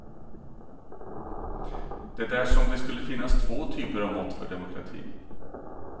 Det är som om det skulle finnas två typer av mått för demokrati.